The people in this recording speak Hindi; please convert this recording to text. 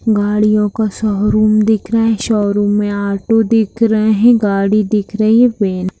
गाड़ियों का शोरूम दिख रहा है शोरूम में ऑटो दिख रहे हैं गाड़ी दिख रही है वैन --